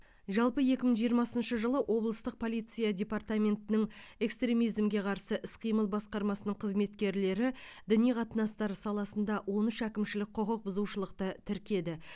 жалпы екі мың жиырмасыншы жылы облыстық полиция департаментінің экстремизмге қарсы іс қимыл басқармасының қызметкерлері діни қатынастар саласында он үш әкімшілік құқық бұзушылықты тіркеді